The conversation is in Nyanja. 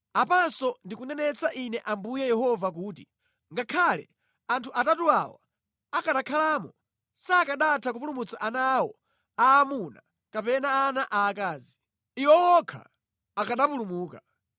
Apanso ndikunenetsa Ine Ambuye Yehova kuti, ‘Ngakhale anthu atatu awa akanakhalamo, sakanatha kupulumutsa ana awo aamuna kapena ana aakazi. Iwo okha akanapulumuka.’